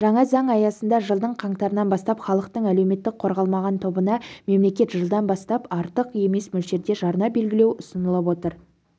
жаңа заң аясында жылдың қаңтарынан бастап халықтың әлеуметтік-қорғалмаған тобына мемлекет жылдан бастап жылдан бастап артық емес мөлшерде жарна белгілеу ұсынылып отыр